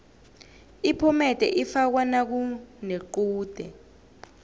iphomede ifakwa nakunequde